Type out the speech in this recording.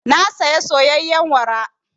Na saya soyayyen wara.